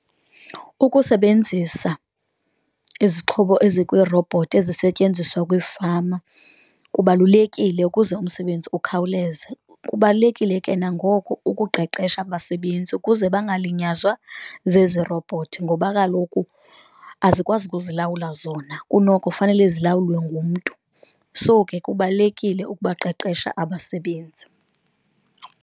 Ukusebenzisa izixhobo ezikwirobhothi ezisetyenziswa kwiifama kubalulekile ukuze umsebenzi ukhawuleze, kubalulekile ke nangoko ukuqeqesha abasebenzi ukuze bangalinyazwa zezi robhothi ngoba kaloku azikwazi ukuzilawula zona, kunoko fanele zilawulwe ngumntu. So ke kubalulekile ukubaqeqesha abasebenzi.